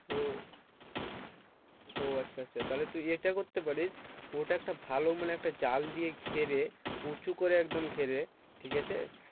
ও ও আচ্ছা আচ্ছা তাহলে তো এটা করতে পারিস ওটা ভালো মানে একটা জাল দিয়ে ঘেরে উঁচু করে একদম ঘিরে ঠিকাছে